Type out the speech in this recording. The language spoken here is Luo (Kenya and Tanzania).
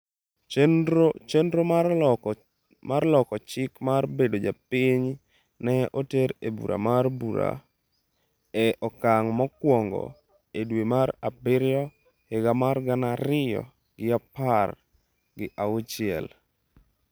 Chenro mar loko chik mar bedo japinyno ne oter e bura mar bura e okang' mokwongo e dwe mar abiriyo higa mar gana ariyo gi apar gi auchiel.